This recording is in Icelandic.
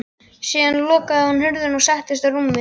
Síðan lokaði hún hurðinni og settist á rúmið.